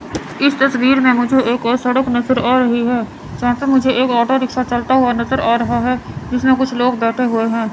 इस तस्वीर में मुझे एक ओर सड़क नज़र आ रही है जहां पे मुझे एक ऑटो रिक्शा चलता हुआ नज़र आ रहा है जिसमे कुछ लोग बैठे हुए है।